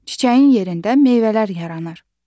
Çiçəyin yerində meyvələr yaranır.